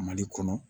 Mali kɔnɔ